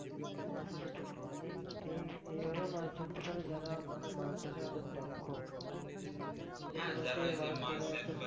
হ্যাঁ সেটা ঠিক মানে এইভাবে মাছ ধরতে পারে যারা মানে মাছ ধরায় অনেক দক্ষ এভাবে মাছ ধরার জন্য